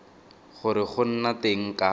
gore go nna teng ga